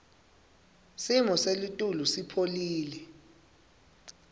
simo selitulu sipholile